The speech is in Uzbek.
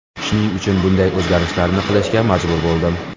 Shuning uchun bunday o‘zgarishlarni qilishga majbur bo‘ldim.